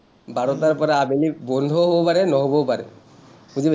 বাৰটাৰ পৰা আবেলি বন্ধও হ’ব পাৰে নহ’বও পাৰে। বুজি পাইছা?